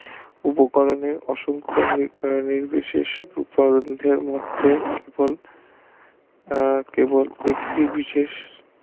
উপকরণে অসংখ্য নির্বিশেষ রূপায়নের আহ কেবল একটি বিশেষ